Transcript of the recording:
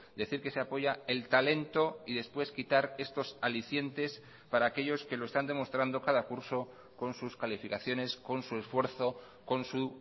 decir que se apoya el talento y después quitar estos alicientes para aquellos que lo están demostrando cada curso con sus calificaciones con su esfuerzo con su